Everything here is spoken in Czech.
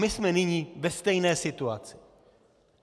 My jsme nyní ve stejné situaci.